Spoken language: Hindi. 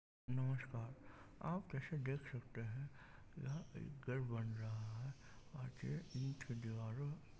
नमस्कार आप इसे देख सकते है यह एक घर बन रहा है और दीवारों--